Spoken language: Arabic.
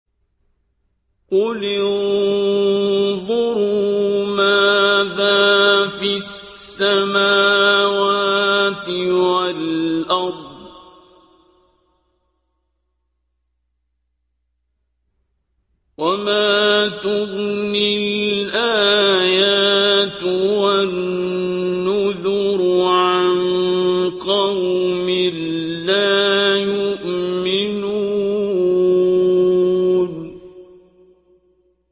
قُلِ انظُرُوا مَاذَا فِي السَّمَاوَاتِ وَالْأَرْضِ ۚ وَمَا تُغْنِي الْآيَاتُ وَالنُّذُرُ عَن قَوْمٍ لَّا يُؤْمِنُونَ